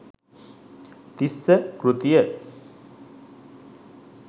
තිස්ස කෘතිය